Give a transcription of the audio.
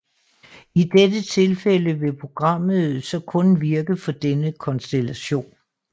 I dette tilfælde vil programmet så kun virke for denne konstellation